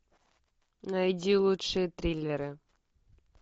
найди лучшие триллеры